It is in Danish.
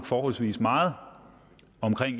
forholdsvis meget om